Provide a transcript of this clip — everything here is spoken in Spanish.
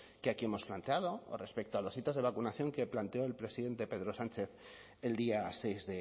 que aquí hemos planteado o respecto a los hitos de vacunación que planteó el presidente pedro sánchez el día seis